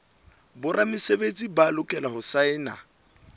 boramesebetsi ba lokela ho saena